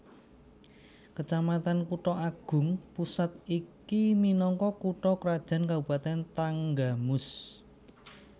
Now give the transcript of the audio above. Kecamatan Kutha Agung Pusat iki minangka kutha krajan Kabupatèn Tanggamus